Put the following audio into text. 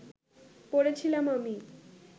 পড়ে ছিলাম আমি